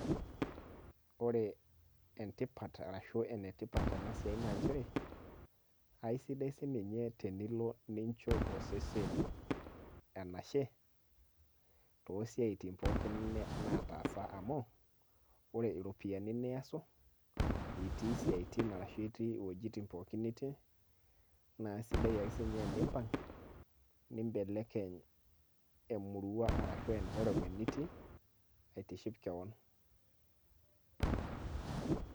ore tipat, ashu ena tipat ena siai naa nchere, esidai sii ninye tenilo aisho osesen enashe. too siatin pooki naataasa amu, ore iropyiani niyasu itii esiai ashu iwuejitin pookin nitii, naa isidai ake sii ninye tenimpang' nibelekeny emurua, ashu environment nitii aitiship kewon.